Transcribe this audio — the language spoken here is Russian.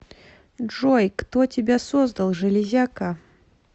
джой кто тебя создал железяка